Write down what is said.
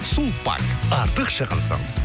сулпак артық шығынсыз